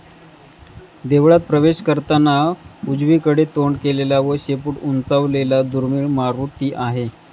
देवळात प्रवेश करताना उजवीकडे तोंड केलेला व शेपूट उंचावलेला दुर्मिळ मारूती आहे.